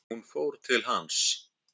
Hún fór til hans.